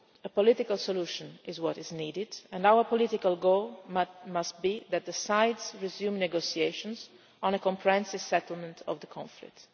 quo. A political solution is what is needed, and our political goal must be that the sides resume negotiations on a comprehensive settlement of the conflict.